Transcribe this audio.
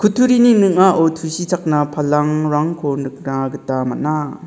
turini ning·ao tusichakna palangrangko nikna gita man·a.